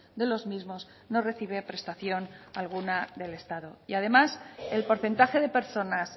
de los mismos no recibe prestación alguna del estado y además el porcentaje de personas